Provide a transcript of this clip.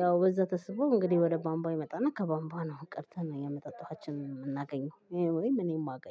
ያው በዛ ተስቦ እንግዲህ ወደ ቧምቧ ይመጣና ከቧምቧ ነው ቀድተን የመጠጥ ውሃችንን የምናገኘው ወይም እኔ ማገኝ